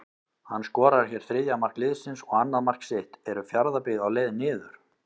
HANN SKORAR HÉR ÞRIÐJA MARK LIÐSINS OG ANNAÐ MARK SITT, ERU FJARÐABYGGÐ Á LEIÐ NIÐUR???